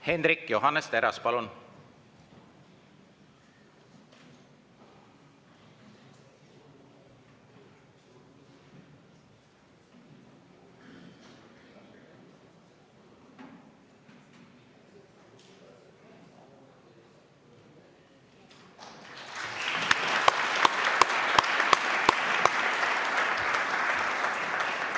Hendrik Johannes Terras, palun!